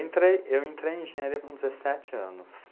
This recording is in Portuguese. Entrei, eu entrei em engenharia com dezessete anos.